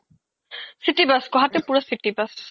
city bus গুৱাহাতিত পুৰা city bus